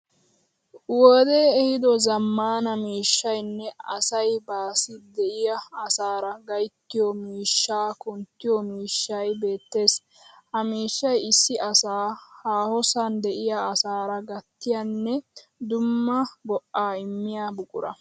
Wodee ehiido zaammaana miishshayinne asay baassi de'iya asaara gayttiyo miishshaa kunttiyo miishshay beettees. Ha miishshay issi asa haahosan de'iya asaara gattiyanne dumma go'aa immiya buqura.